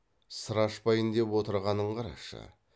сыр ашпайын деп отырғанын қарашы